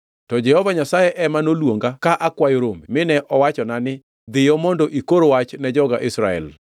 To Jehova Nyasaye ema noluonga ka akwayo rombe, mine owachona ni, ‘Dhiyo mondo ikor wach ne joga Israel.’